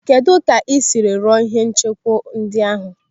Kedụ ka esiri rụọ ihe nchekwa ndị ahụ?